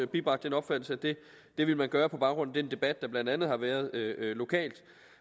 bibragt den opfattelse at det ville man gøre på baggrund af den debat der blandt andet har været lokalt